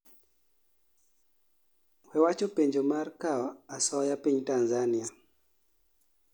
wawacho penjo mar kao asoya piny tanzania